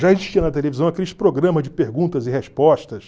Já existiam na televisão aqueles programas de perguntas e respostas.